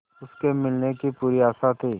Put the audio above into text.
उसके मिलने की पूरी आशा थी